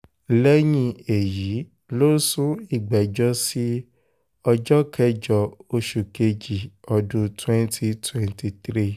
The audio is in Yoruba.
lẹ́yìn èyí ló sún ìgbẹ́jọ́ sí ọjọ́ kẹjọ oṣù kejì ọdún 2023